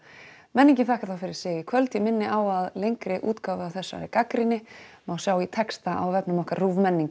menningin þakkar þá fyrir sig í kvöld ég minni á að lengri útgáfa af þessari gagnrýni má sjá í texta á vefnum okkar